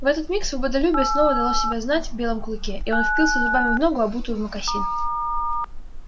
в этот миг свободолюбие снова дало себя знать в белом клыке и он впился зубами в ногу обутую в мокасин